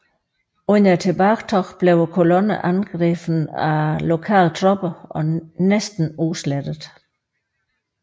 Under tilbagetoget blev kolonnen angrebet af lokale tropper og næsten udslettet